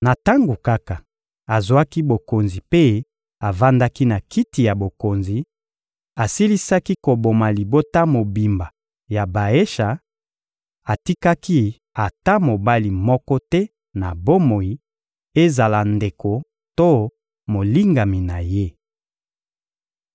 Na tango kaka azwaki bokonzi mpe avandaki na kiti ya bokonzi, asilisaki koboma libota mobimba ya Baesha; atikaki ata mobali moko te na bomoi, ezala ndeko to molingami na ye.